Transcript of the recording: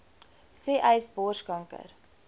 sê uys borskanker